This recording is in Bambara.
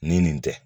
Ni nin tɛ